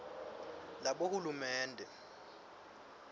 labohulumende